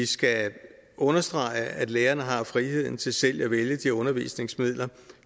skal understrege at lærerne har friheden til selv at vælge de undervisningsmidler